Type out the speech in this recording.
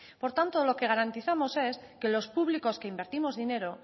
por tanto lo que garantizamos es que los públicos que invertimos dinero